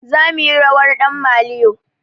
Zamuyi rawar ɗan maliyo